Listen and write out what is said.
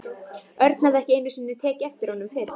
Örn hafði ekki einu sinni tekið eftir honum fyrr.